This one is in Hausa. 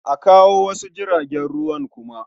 A kawo wasu jiragen ruwan kuma.